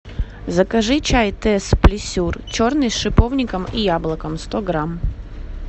закажи чай тесс плесюр черный с шиповником и яблоком сто грамм